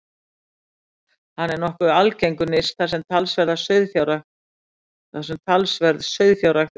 Hann er nokkuð algengur nyrst þar sem talsverð sauðfjárrækt er stunduð.